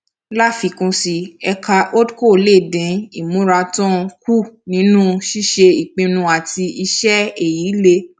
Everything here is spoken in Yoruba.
láfikún sí i ẹka hold co lè dín ìmúratán kù nínú ṣíṣe ìpinnu àti iṣẹ èyí lè